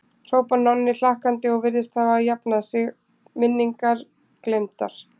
hrópar Nonni hlakkandi og virðist þegar hafa jafnað sig, minningar gleymdar.